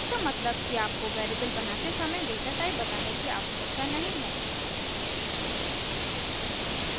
इसका मतलब कि आपको वेरिएबल बनाते समय डेटाटाइप बताने की आवशयकता नहीं है